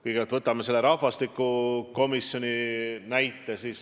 Kõigepealt, võtame rahvastikukomisjoni.